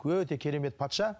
өте керемет патша